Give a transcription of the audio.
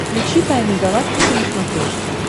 включи тайны галактики на смотрешке